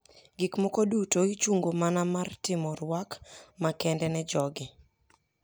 Gik moko duto ichungo mana mar timo rwak makende ne jogi.